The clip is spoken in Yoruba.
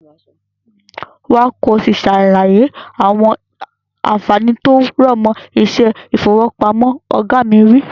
Wá ki o si sàlàyé àwọn ànfàní tí ó rọ̀mọ́ iṣẹ́ ifowopamọ. Oga mi wi.